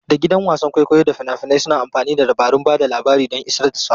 Da gidan wasan kwaikwayo da fina-finai suna amfani da dabarun ba da labari don isar da saƙo.